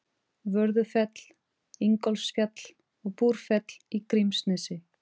Vörðufell, Ingólfsfjall og Búrfell í Grímsnesi.